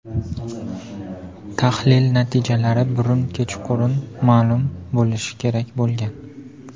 Tahlil natijalari burun kechqurun ma’lum bo‘lishi kerak bo‘lgan.